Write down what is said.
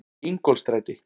Ingólfsstræti